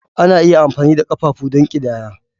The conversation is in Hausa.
Ana iya amfani da ƙafafu don ƙidaya.